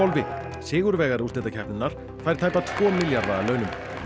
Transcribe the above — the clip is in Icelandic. sigurvegari úrslitakeppninnar fær tæpa tvo milljarða að launum